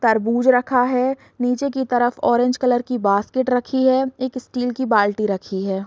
तरबूज रखा है नीचे की तरफ ऑरेंज कलर की बास्केट रखी है एक स्टील की बाल्टी रखी है।